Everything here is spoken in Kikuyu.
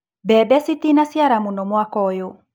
Mbembe citinaciara mũno mwaka ũyũ.